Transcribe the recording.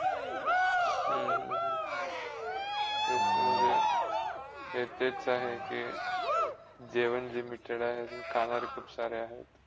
हम्म हम्म ते तेच आहे के जेवण कमी खाणारे खुप सारे आहेत.